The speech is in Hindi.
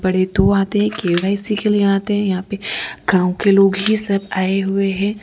दो आते है के_वाई_सी के लिए आते है यहां पे गांव के लोग ही सब आए हुए हैं।